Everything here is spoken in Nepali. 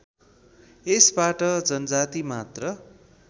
यसबाट जनजाति मात्र